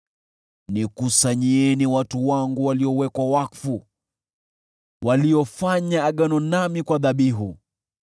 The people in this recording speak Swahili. “Nikusanyieni watu wangu waliowekwa wakfu, waliofanya agano nami kwa dhabihu.”